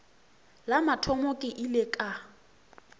la mathomo ke ile ka